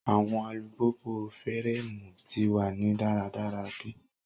Awọn alupupu fireemu ti wa ni daradara be